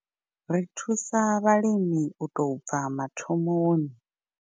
Ri thusa vhalimi u tou bva mathomoni.